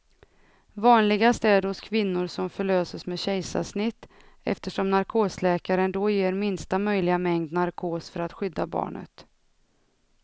Vanligast är det hos kvinnor som förlöses med kejsarsnitt, eftersom narkosläkaren då ger minsta möjliga mängd narkos för att skydda barnet.